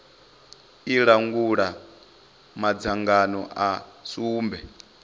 i langula madzangano a sumbe